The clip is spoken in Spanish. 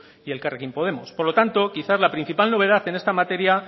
y elkarrekin podemos por lo tanto quizá la mayor novedad en esta materia